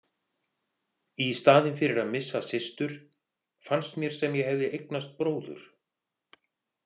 Í staðinn fyrir að missa systur fannst mér sem ég hefði eignast bróður.